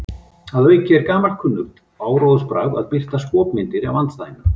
Að auki er gamalkunnugt áróðursbragð að birta skopmyndir af andstæðingnum.